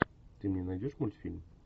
ты мне найдешь мультфильм